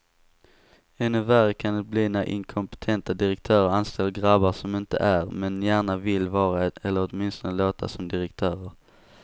Ännu värre kan det bli när inkompetenta direktörer anställer grabbar som inte är, men gärna vill vara eller åtminstone låta som direktörer.